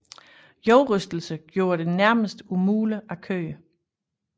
Jordrystelserne gjorde det nærmest umuligt at køre